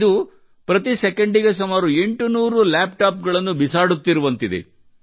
ಇದು ಪ್ರತಿ ಸೆಕೆಂಡಿಗೆ ಸುಮಾರು 800 ಲ್ಯಾಪ್ ಟಾಪ್ ಗಳನ್ನು ಬಿಸಾಡುತ್ತಿರುವಂತಿದೆ